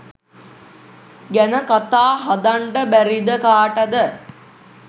ගැන කතා හදන්ඩ බැරිද කාටද